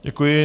Děkuji.